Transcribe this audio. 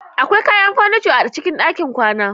Akwai kayan furniture a cikin ɗakin kwana.